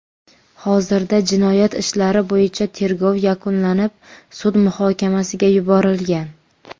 Hozirda jinoyat ishlari bo‘yicha tergov yakunlanib, sud muhokamasiga yuborilgan.